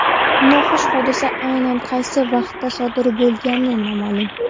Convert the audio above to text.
Noxush hodisa aynan qaysi vaqtda sodir bo‘lgani noma’lum.